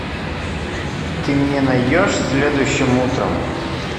ты мне найдешь следующим утром